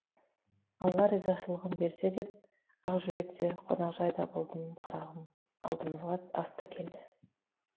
алла ризашылығын берсін деп ақжүрек те қонақжайда болдым қарағым алдымызға ас та келді